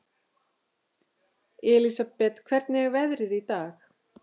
Elsabet, hvernig er veðrið í dag?